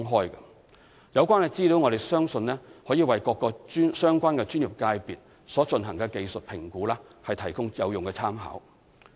我們相信有關資料可為各個相關專業界別所進行的技術評估提供有用參考。